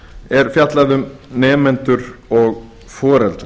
er fjallað um nemendur og foreldra